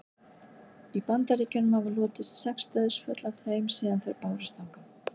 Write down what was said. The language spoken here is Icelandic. í bandaríkjunum hafa hlotist sex dauðsföll af þeim síðan þær bárust þangað